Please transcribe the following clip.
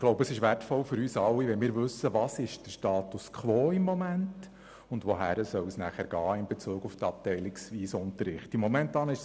Ich glaube, es ist gut zu wissen, was der Status quo ist, und wohin es mit dem abteilungsweisen Unterricht gehen soll.